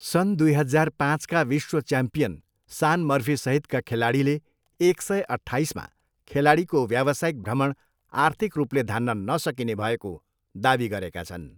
सन् दुई हजार पाँचका विश्व च्याम्पियन सान मर्फीसहितका खेलाडीले एक सय, अट्ठाइसमा खेलाडीको व्यावसायिक भ्रमण आर्थिक रूपले धान्न नसकिने भएको दावी गरेका छन्।